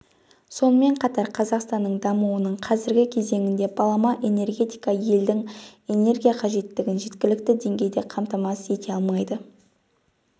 сонымен қатар қазақстанның дамуының қазіргі кезеңінде балама энергетика елдің энергия қажеттігін жеткілікті деңгейде қамтамасыз ете алмайды